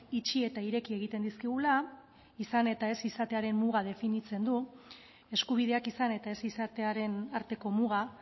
itxi eta ireki egiten dizkigula izan eta ez izatearen muga definitzen du eskubideak izan eta ez izatearen arteko muga